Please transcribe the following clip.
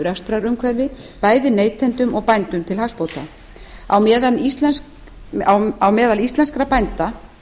rekstrarumhverfi bæði neytendum og bændum til hagsbóta á meðal íslenskra bænda